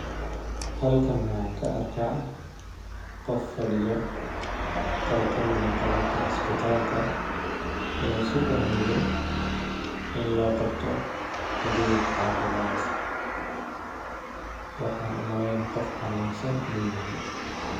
Halkan waxaan ka arkaa qof fadhiyo qol kamid eh qolalka isbitalka oo sugahayo in loo qabto adeeg cafimaad ,waxaan u maleyni qof xanuunsan inuu yahay.